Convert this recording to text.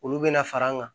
Olu bɛna fara an kan